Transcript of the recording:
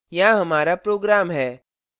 यहाँ हमारा program है